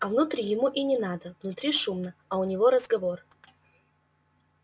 а внутрь ему и не надо внутри шумно а у него разговор